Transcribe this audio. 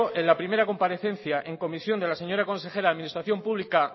en la primera comparecencia en comisión de la señora consejera de administración pública